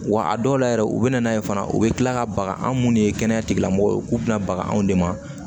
Wa a dɔw la yɛrɛ u bɛ na n'a ye fana u bɛ tila ka baga an munnu de ye kɛnɛya tigilamɔgɔw ye k'u bɛna bagan anw de ma